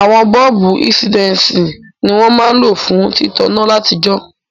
Àwon bọ́ọ̀bù insidensi ni won ma n lo fún títaná látijó